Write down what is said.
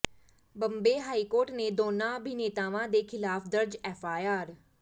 Bombay high court ਨੇ ਦੋਨਾਂ ਅਭਿਨੇਤਾਵਾਂ ਦੇ ਖਿਲਾਫ ਦਰਜ ਐਫਆਈਆਰ